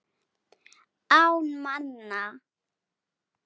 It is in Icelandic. Án manna.